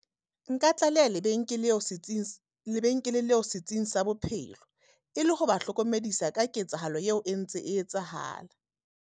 Nka tlaleha setsing, lebenkele leo setsing sa bophelo. E le ho ba hlokomedisa ka ketsahalo eo e ntse e etsahala.